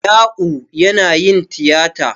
Ya'u yana yin tiyata.